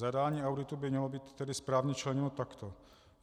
Zadání auditu by mělo být tedy správně členěno takto: